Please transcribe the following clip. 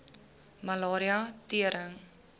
malaria tering